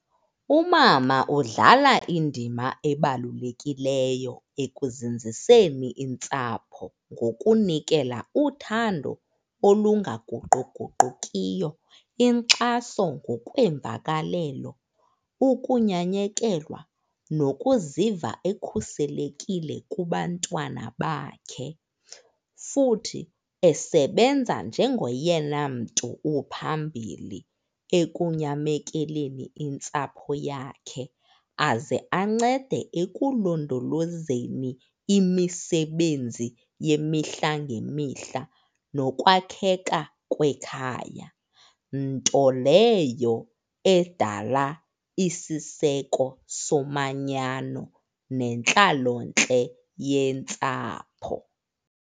Umama udlala indima ebalulekileyo ekuzinziseni intsapho ngokunikela uthando olungaguquguqukiyo, inkxaso ngokweemvakalelo, ukunyanyekelwa nokuziva ekhuselekile kubantwana bakhe. Futhi esebenza njengoyena mntu uphambili ekunyamekeleni intsapho yakhe, aze ancede ekulondolozeni imisebenzi yemihla ngemihla nokwakheka kwekhaya, nto leyo edala isiseko somanyano nentlalontle yentsapho.